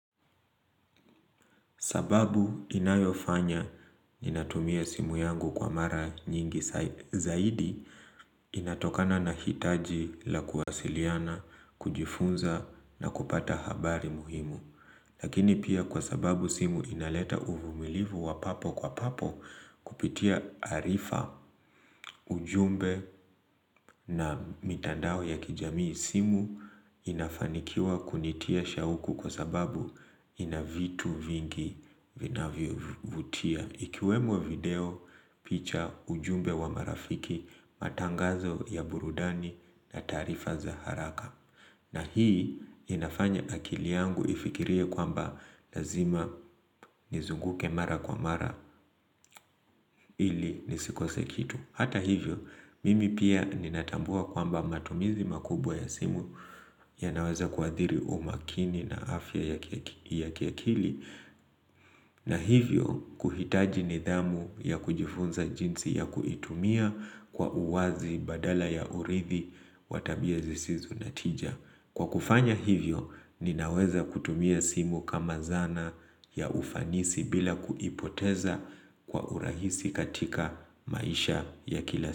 Sababu inayofanya ninatumia simu yangu kwa mara nyingi zaidi inatokana na hitaji la kuwasiliana, kujifunza na kupata habari muhimu. Lakini pia kwa sababu simu inaleta uvumilivu wa papo kwa papo kupitia arifa ujumbe na mitandao ya kijamii simu inafanikiwa kunitia shauku kwa sababu inavitu vingi vinavyo vutia. Ikiwemo video picha ujumbe wa marafiki matangazo ya burudani na taarifa za haraka na hii inafanya akili yangu ifikirie kwamba lazima nizunguke mara kwa mara ili nisikose kitu Hata hivyo, mimi pia ninatambua kwamba matumizi makubwa ya simu ya naweza kuadhiri umakini na afya ya kiakili na hivyo kuhitaji nidhamu ya kujifunza jinsi ya kuitumia kwa uwazi badala ya urithi watabia zisizo na tija. Kwa kufanya hivyo ninaweza kutumia simu kama zana ya ufanisi bila kuipoteza kwa urahisi katika maisha ya kila siku.